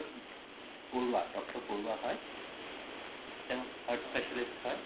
Barua doctor Barua হয় তেও heart specialist হয়